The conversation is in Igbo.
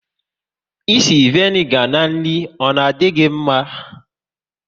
Ịsị vanigar n'nri gi, ọ na di gị mma?